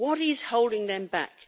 What is holding them back?